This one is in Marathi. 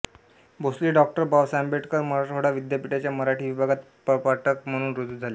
भोसले डॉ बाबासाहेब आंबेडकर मराठवाडा विद्यापीठाच्या मराठी विभागात प्रपाठक म्हणून रुजू झाले